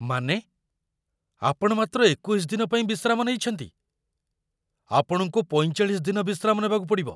ମାନେ, ଆପଣ ମାତ୍ର ୨୧ଦିନ ପାଇଁ ବିଶ୍ରାମ ନେଇଛନ୍ତି? ଆପଣଙ୍କୁ ୪୫ ଦିନ ବିଶ୍ରାମ ନେବାକୁ ପଡ଼ିବ।